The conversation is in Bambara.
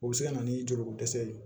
O bɛ se ka na ni joliko dɛsɛ ye